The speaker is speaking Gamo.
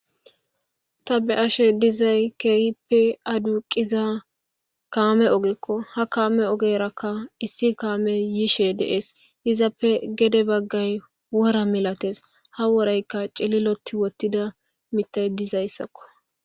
ta be ashe dizay keehippe aduuqiza kaame ogekko ha kaame ogeraka issi kaame yishe dees izappe gede baggay wora milates ha worayka celiloti wottida mitay dizayssakko